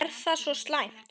Er það svo slæmt?